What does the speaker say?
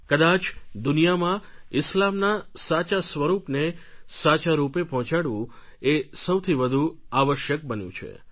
કદાચ દુનિયામાં ઇસ્લામના સાચા સ્વરૂપને સાચા રૂપે પહોંચાડવું એ સૌથી વધુ આવશ્યક બન્યું છે